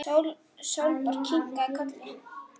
Sólborg kinkaði kolli.